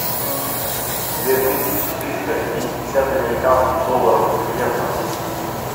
две тысячи триста пятьдесят американских долларов в песо